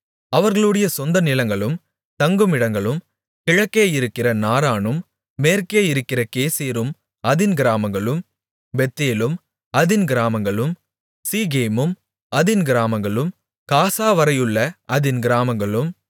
அவர்களுடைய சொந்த நிலங்களும் தங்குமிடங்களும் கிழக்கே இருக்கிற நாரானும் மேற்கே இருக்கிற கேசேரும் அதின் கிராமங்களும் பெத்தேலும் அதின் கிராமங்களும் சீகேமும் அதின் கிராமங்களும் காசாவரையுள்ள அதின் கிராமங்களும்